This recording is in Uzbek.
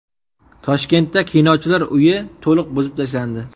Toshkentda Kinochilar uyi to‘liq buzib tashlandi .